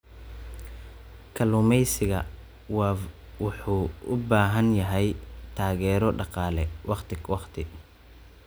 Kalluumeysiga Wav wuxuu u baahan yahay taageero dhaqaale waqti ka waqti.